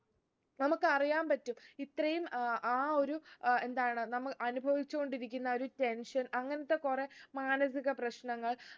നമുക്കറിയാൻ പറ്റും ഇത്രയും അഹ് ആ ഒരു ഏർ എന്താണ് നമ്മൾ അനുഭവിച്ചു കൊണ്ടിരിക്കുന്ന ഒരു tension അങ്ങൻത്തെ കൊറേ മാനസിക പ്രശ്നങ്ങൾ